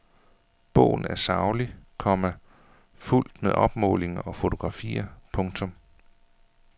Bogen er saglig, komma fuldt med opmålinger og fotografier. punktum